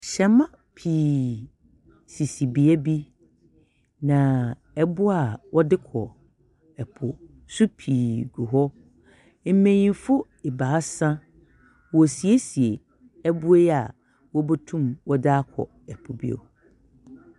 Hɛmba pii sisi beebi, na eboa a wɔdze kɔ po so pii gu hɔ, mbanyin ebiasa worisiesie eboa yi a wobotum wɔdze akɔ po bio.